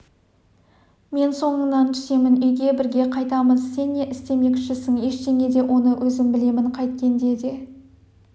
мен соңыңнан түсемін үйге бірге қайтамыз сен не істемекшісің ештеңе де оны өзім білемін қайткенде де